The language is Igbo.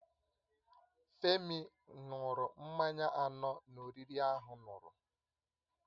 Femi n̄ụrụ mmanya anọ na oriri ahụn̄ụrụ